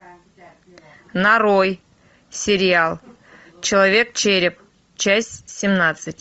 нарой сериал человек череп часть семнадцать